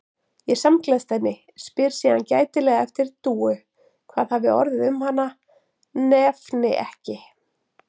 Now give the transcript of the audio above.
Ég samgleðst henni, spyr síðan gætilega eftir Dúu, hvað hafi orðið um hana, nefni ekki